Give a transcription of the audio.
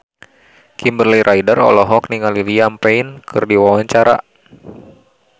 Kimberly Ryder olohok ningali Liam Payne keur diwawancara